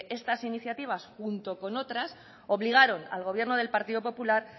estas iniciativas junto con otras obligaron al gobierno del partido popular